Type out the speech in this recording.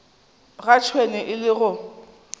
ga tšhwene e le go